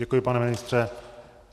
Děkuji, pane ministře.